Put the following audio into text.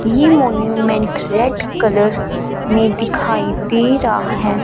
ये monument red colour में दिखाई दे रहा हैं।